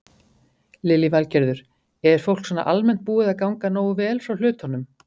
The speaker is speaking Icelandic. Lillý Valgerður: Er fólk svona almennt búið að ganga nógu vel frá hlutunum?